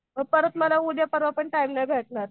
मग परत मला उद्या परवा पण टाईम नाही भेटणार.